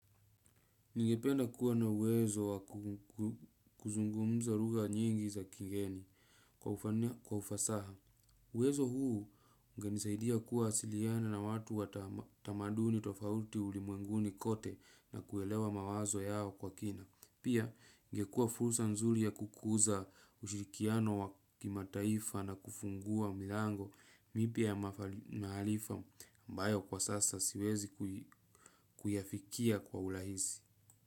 Ningependa kuwa na uwezo wa kuzungumza lugha nyingi za kigeni kwa ufasaha. Uwezo huu ungenisaidia kuwa siliana na watu wa tamaduni tofauti ulimwenguni kote na kuelewa mawazo yao kwa kina. Pia ingekuwa fulsa nzuri ya kukuza ushirikiano wa kima taifa na kufungua milango mipya ya maf mahalifa mbayo kwa sasa siwezi kuyafikia kwa ulahisi.